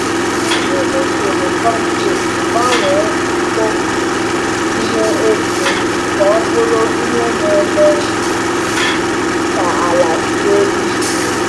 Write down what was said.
Iji usoro compost gbanwee mkpofu ihe eke ka ọ bụrụ ihe na-eme ka ala sie ike.